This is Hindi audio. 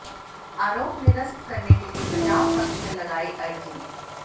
आरोप निरस्त करने के लिये बचाव पक्ष ने लगाई अर्जी